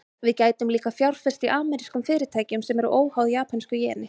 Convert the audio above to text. Við gætum líka fjárfest í amerískum fyrirtækjum, sem eru óháð japönsku jeni.